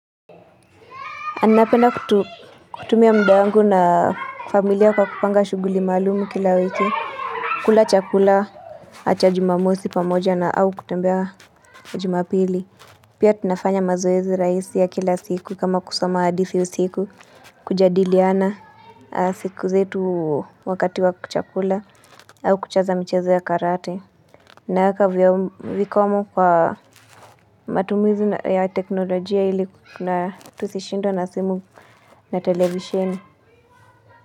Napenda kutumia muda wangu na familia kwa kupanga shuguli maalumu kila wiki kula chakula cha jumamosi pamoja na au kutembea jumapili Pia tunafanya mazoezi raisi ya kila siku kama kusoma hadithi usiku kujadiliana siku zetu wakati wa chakula au kucheza michezo ya karate naeka vikomo kwa matumizi ya teknolojia ili tusishindwe na simu na televisheni.